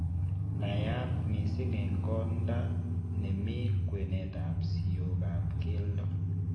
Naiyaat mising' eng' kodaa nemii kwenet ab siookab keldo